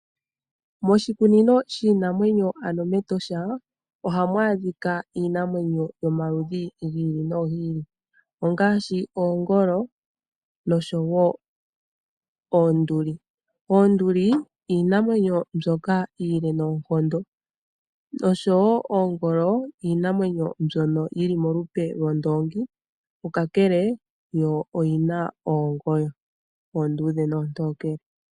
Moshikunino shiinamwenyo ano mEtosha ohamu adhika iinamwenyo yomaludhi gi ili nogi ili ngaashi oongolo noshowo oonduli. Oonduli iinamwenyo ndyoka iile noonkondo. Oongolo iinamwenyo ndyono yili molupe lyondoongi kakele yo oyina omalwaala omatokele nomaluudhe.